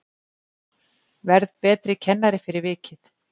Verð betri kennari fyrir vikið